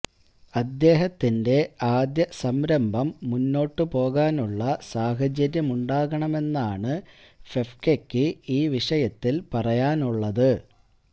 അദ്ദേഹത്തിന്റെ ആദ്യ സംരംഭം മുമ്പോട്ടു പോകാനുള്ള സാഹചര്യമുണ്ടാകണമെന്നാണ് ഫെഫ്കയ്ക്ക് ഈ വിഷയത്തില് പറയാനുള്ളത്